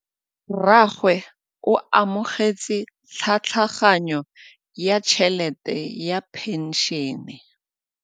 Rragwe o amogetse tlhatlhaganyô ya tšhelête ya phenšene.